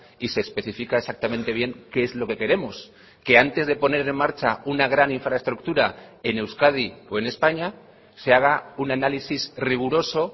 y se especifica exactamente bien qué es lo que queremos que antes de poner en marcha una gran infraestructura en euskadi o en españa se haga un análisis riguroso